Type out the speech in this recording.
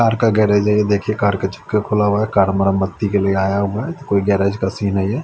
Car का garage है ये देखिये कार चक्का खुला हुआ हैं कार मरम्मत के लिए आया हुआ हु कोई गैरेज का सीन हैं ये ।